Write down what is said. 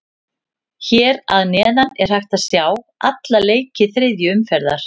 Hér að neðan er hægt að sjá alla leiki þriðju umferðar.